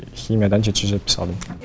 химиядан жеті жүз жетпіс алдым